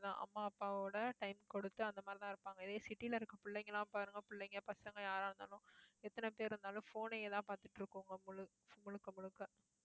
அம்மா, அப்பாவோட time கொடுத்து அந்த மாதிரிதான் இருப்பாங்க. இதே city ல இருக்கிற பிள்ளைங்க எல்லாம் பாருங்க, பிள்ளைங்க பசங்க யாரா இருந்தாலும் எத்தனை பேர் இருந்தாலும், phone ஐயே தான் பார்த்துட்டு இருக்கோம் முழு~ முழுக்க முழுக்க